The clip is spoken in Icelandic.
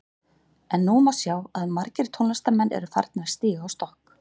En nú má sjá að margir tónlistarmenn eru að farnir að stíga á stokk.